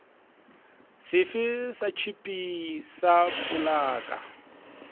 sefe sa tšhipi sa polaka